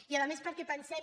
i a més perquè pensem